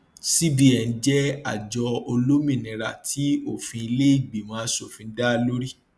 cbn jẹ àjọ olómìnira tí òfin ilé ìgbìmọ aṣòfin dá lórí